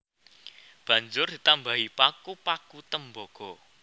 Banjur ditambahi paku paku tembaga